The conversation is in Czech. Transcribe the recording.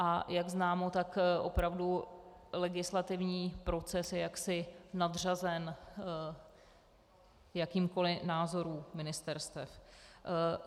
A jak známo, tak opravdu legislativní proces je jaksi nadřazen jakýmkoliv názorům ministerstev.